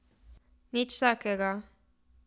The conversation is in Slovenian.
Nič takega.